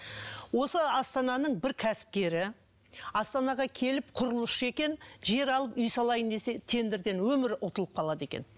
осы астананың бір кәсіпкері астанаға келіп құрылысшы екен жер алып үй салайын десе тендерден өмір ұтылып қалады екен